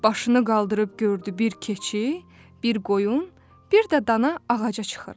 Başını qaldırıb gördü bir keçi, bir qoyun, bir də dana ağaca çıxırlar.